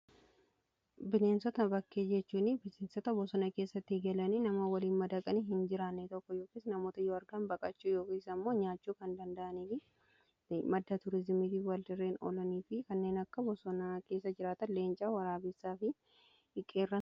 Bineensota bakkee jechuun bineensota bosona keessatti galanii namoota waliin madaqanii hin jiraanne tokko yookiis namoota yoo argan baqachuu yookiis ammoo nyaachuu kan danda'aniif madda tuuriizimiti. warreen oolanii fi kanneen akka bosonaa keessa jiraatan leencaa, waraabessaa fi qeerransaa.